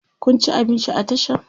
Kun ci abinci a Tashan?